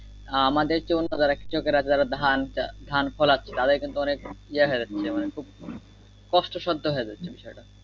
আহ আমাদের চেয়ে অন্য যারা কৃষকেরা ধান ফলাচ্ছে তাদের কিন্তু অনেক ইয়া হয়ে যাচ্ছে মানে খুব কষ্ট সাধ্য হয়ে যাচ্ছে বিষয় টা